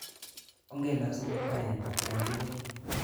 Onge lasu Kiptaiyat atkan tukul.